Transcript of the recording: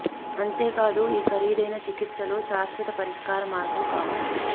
అంతే కాదు ఈ ఖరీదైన చికిత్సలు శాశ్వత పరిష్కార మార్గం కావు